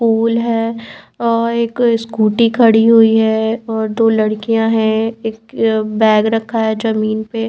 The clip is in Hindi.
पूल है अ एक स्कूटी खड़ी हुई है और दो लड़कियाँ हैं एक बैग रखा है जमीन पे।